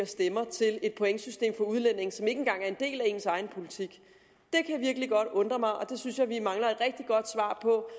stemmer til et pointsystem for udlændinge som ikke engang er en del af ens egen politik det kan virkelig godt undre mig og det synes jeg at vi mangler et rigtig godt svar på